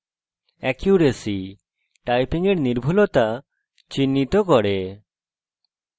accuracy – আপনার typing এর নির্ভুলতা চিহ্নিত করে